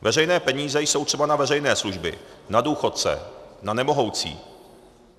Veřejné peníze jsou třeba na veřejné služby, na důchodce, na nemohoucí.